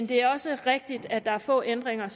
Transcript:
det er også rigtigt at der er få ændringer